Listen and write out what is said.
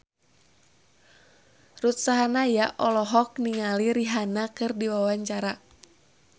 Ruth Sahanaya olohok ningali Rihanna keur diwawancara